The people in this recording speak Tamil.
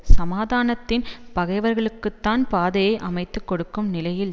சமாதானத்தின் பகைவர்களுக்குத்தான் பாதையை அமைத்து கொடுக்கும் நிலையில்